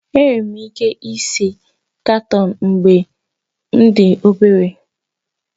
Enwere m ike ise katoon mgbe m dị obere